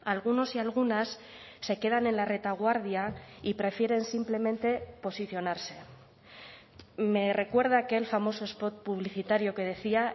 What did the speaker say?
algunos y algunas se quedan en la retaguardia y prefieren simplemente posicionarse me recuerda a aquel famoso spot publicitario que decía